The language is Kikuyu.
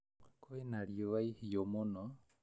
Kwĩna rĩũa ihiũ mũno